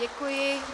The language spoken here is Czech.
Děkuji.